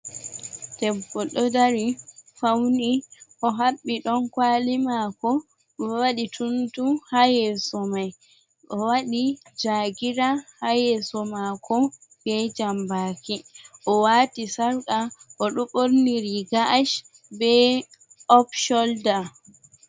Debbo ɗo dari fauni o haɓɓi ɗon kwali mako o waɗi tuntu ha yeso mai o wadi jagira ha yeso mako be jambaki o wati sarqa o duborniri riga ash be op sholda.